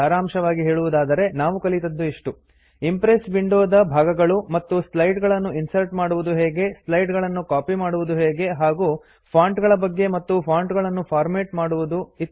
ಸಾರಾಂಶವಾಗಿ ಹೇಳುವುದಾದರೆ ನಾವು ಕಲಿತದ್ದು ಇಷ್ಟು160 ಇಂಪ್ರೆಸ್ ವಿಂಡೋ ದ ಭಾಗಗಳು ಮತ್ತು ಸ್ಲೈಡ್ ಗಳನ್ನು ಇನ್ಸರ್ಟ್ ಮಾಡುವುದು ಹೇಗೆ ಸ್ಲೈಡ್ ಗಳನ್ನು ಕಾಪಿ ಮಾಡುವುದು ಹೇಗೆ ಹಾಗೂ ಫಾಂಟ್ ಗಳ ಬಗ್ಗೆ ಮತ್ತು ಫಾಂಟ್ ಗಳನ್ನು ಫಾರ್ಮ್ಯಾಟ್ ಮಾಡುವುದು